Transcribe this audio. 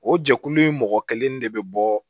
O jɛkulu in mɔgɔ kelen de bɛ bɔ